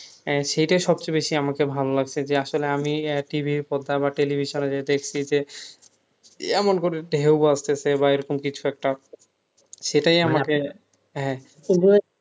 আহ সেটা সবচেয়ে বেশি আমাকে ভালো লাগছে যে আসলে আমি আহ TV এর পর্দা বা television এ যে দেখছি যে এমন করে ঢেউ আসতেছে বা এরকম কিছু একটা সেটাই আমাকে হ্যাঁ